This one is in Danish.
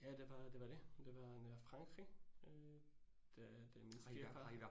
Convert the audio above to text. Ja det var, det var det. Det var Frankrig øh det det min svigerfar